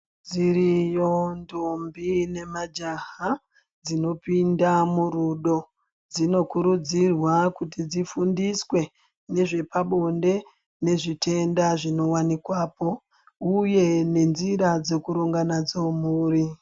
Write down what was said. Dziriyo ndombi nemajaha dzinopinda murudo .Dzinokurudzirwa kuti dzifundiswe ngezvepabonde nezvitenda zvinowanikwapo uye nenjira dzekuronga nadzo mhuri.